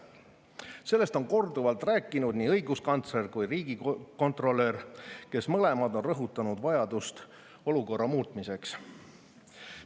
Sellest on korduvalt rääkinud nii õiguskantsler kui ka riigikontrolör, kes mõlemad on rõhutanud vajadust olukorra muutmiseks.